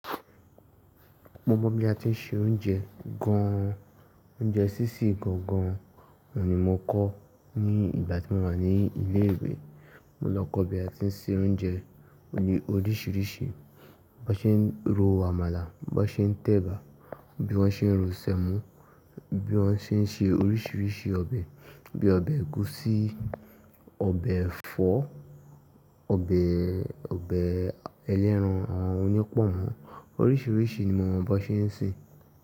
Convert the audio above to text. Mo mọ bi a ti ń ṣe oúnjẹ gan an. Oúnjẹ sísè gangan oun ni mo kọ́ ní ìgbà tí mo wà ní ilé ìwé. Mo lọ kọ́ bi a ti ń se oúnjẹ oríṣiríṣi, bọ ṣe ń ro àmàlà, bọ ṣe ń tẹ̀bà, bí wọ́n ṣe ń ro sẹ̀mọ́, bí wọ́n ṣe ń ṣe oríṣiríṣi ọbẹ̀, bí i ọbẹ̀ ẹ̀gúsí, ọbẹ̀ ẹ̀fọ́, ọbẹ̀, ọbẹ̀ ẹlẹran, àwọn oní pọ́nmọ, oríṣiríṣi ni mo mọ bọ ṣe ń se.